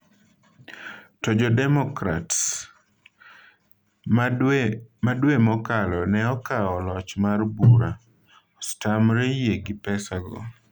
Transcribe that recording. To jo Democrats - ma dwe mokalo ne okawo loch mar bura - osetamre yie gi pesa go.